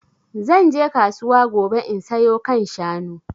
Zan je kasuwa gobe in sayo kan shanu